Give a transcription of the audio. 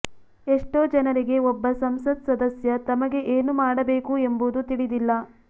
ಎಷ್ಟೋ ಜನರಿಗೆ ಒಬ್ಬ ಸಂಸತ್ ಸದಸ್ಯ ತಮಗೆ ಏನು ಮಾಡಬೇಕು ಎಂಬುದು ತಿಳಿದಿಲ್ಲ